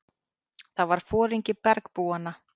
Það var foringi bergbúanna.